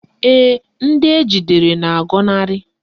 Ee, ndị ejidere na-agọnarị